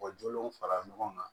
U jolenw fara ɲɔgɔn kan